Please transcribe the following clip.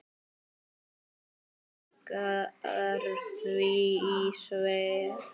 Vaggar því í svefn.